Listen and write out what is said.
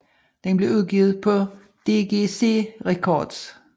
Den blev udgivet på DGC Records